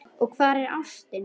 Og hvar er ástin?